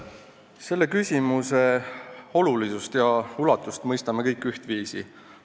Selle küsimuse olulisust ja ulatust mõistame kõik ühtviisi.